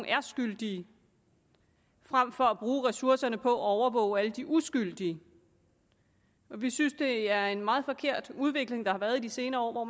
er skyldige frem for at bruge ressourcerne på at overvåge alle de uskyldige vi synes at det er en meget forkert udvikling der har været i de senere år hvor